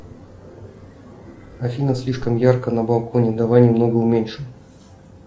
афина слишком ярко на балконе давай немного уменьшим